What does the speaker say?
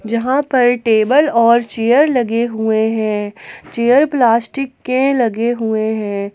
जहां पर टेबल और चेयर लगे हुए है चेयर प्लास्टिक के लगे हुए है।